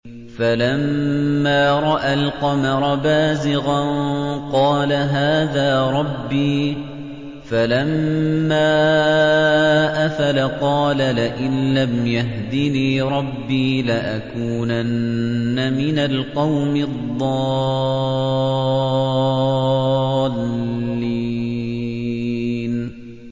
فَلَمَّا رَأَى الْقَمَرَ بَازِغًا قَالَ هَٰذَا رَبِّي ۖ فَلَمَّا أَفَلَ قَالَ لَئِن لَّمْ يَهْدِنِي رَبِّي لَأَكُونَنَّ مِنَ الْقَوْمِ الضَّالِّينَ